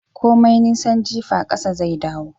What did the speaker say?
Komai nisan jifa kasa zai dawo